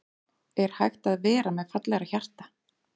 Er hægt að vera með fallegra hjarta?